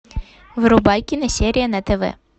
врубай киносерия на тв